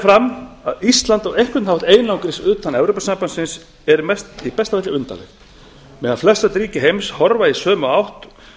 fram að ísland á einhvern hátt einangrist utan evrópusambandsins er í besta falli undarlegt meðan flestöll ríki heims horfa í sömu átt